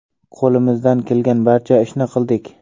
Qo‘limizdan kelgan barcha ishni qildik.